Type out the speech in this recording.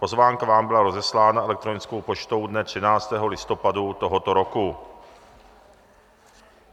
Pozvánka vám byla rozeslána elektronickou poštou dne 13. listopadu tohoto roku.